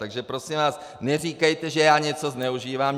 Takže prosím vás, neříkejte, že já něco zneužívám.